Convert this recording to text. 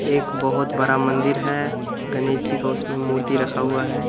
एक बहुत बड़ा मंदिर है गणेश जी का उसमे मूर्ति रखा हुवा है।